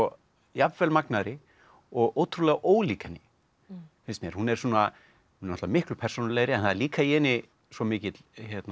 jafnvel magnaðri og ótrúlega ólík henni finnst mér hún er náttúrulega miklu persónulegri en það er líka í henni svo mikill